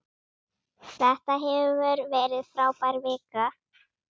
Þetta hefur verið frábær vika.